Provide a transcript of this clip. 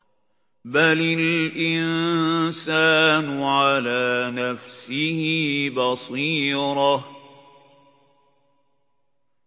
بَلِ الْإِنسَانُ عَلَىٰ نَفْسِهِ بَصِيرَةٌ